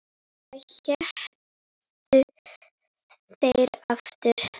Hvað hétu þeir aftur?